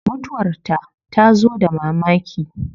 Mutuwar ta tazo da mamaki